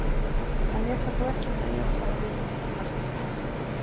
Hann lét það þó ekki nægja og lagði upp hitt markið.